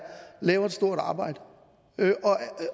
laver et stort arbejde og